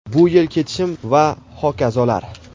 bu yil ketishim va hokazolar.